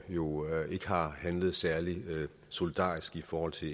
jo ikke har handlet særlig solidarisk i forhold til